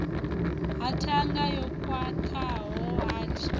ha ṱhanga yo khwaṱhaho hard